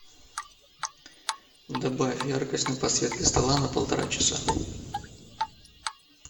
добавь яркость на подсветке стола на полтора часа